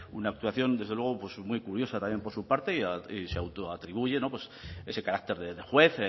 una actuación desde luego pues muy curiosa también por su parte y se autoatribuye pues ese carácter de juez